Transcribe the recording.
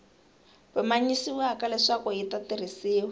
pimanyisiwaka leswaku yi ta tirhisiwa